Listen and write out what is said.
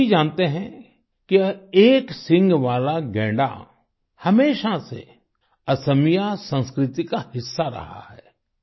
आप सभी जानते हैं कि एक सींग वाला गैंडा हमेशा से असमिया संस्कृति का हिस्सा रहा है